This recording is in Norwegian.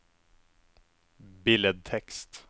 billedtekst